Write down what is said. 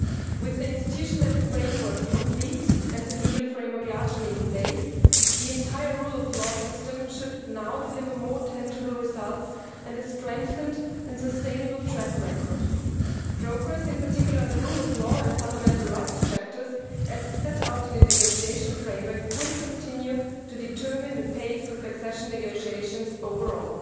With the institutional framework complete and the legal framework largely in place, the entire rule of law system should now deliver more tangible results and a strengthened and sustainable track record. Progress in particular on the rule of law and fundamental rights chapters, as set out in the negotiation framework, will continue to determine the pace of accession negotiations overall.